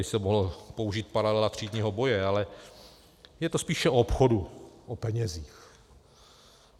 Tady se mohla použít paralela třídního boje, ale je to spíše o obchodu, o penězích.